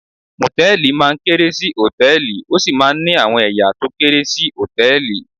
Mòtẹ́lìì máa ń kéré sí Hòtẹ́lìì, ó sì máa ń ní àwọn ẹ̀ya tó kéré sí Hòtẹ́lìì.